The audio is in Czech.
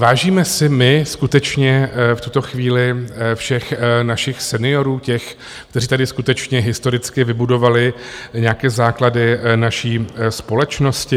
Vážíme si my skutečně v tuto chvíli všech našich seniorů, těch, kteří tady skutečně historicky vybudovali nějaké základy naší společnosti?